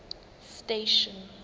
station